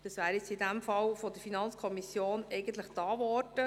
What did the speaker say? Dies hat die FiKo im vorliegenden Fall eigentlich getan.